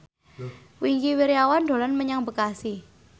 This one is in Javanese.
Wingky Wiryawan dolan menyang Bekasi